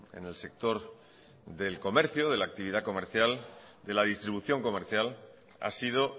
en el sector del comercio de la actividad comercial de la distribución comercial ha sido